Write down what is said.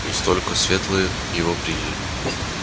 не столько светлые его приняли